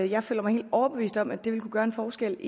jeg føler mig helt overbevist om at det vil kunne gøre en forskel